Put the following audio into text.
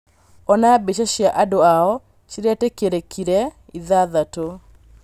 Ona mbicha cia andũ ao cĩretĩkĩrĩkire ithathatu